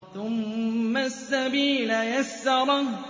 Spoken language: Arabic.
ثُمَّ السَّبِيلَ يَسَّرَهُ